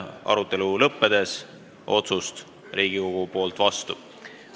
Arutelu lõppedes Riigikogu otsust vastu ei võta.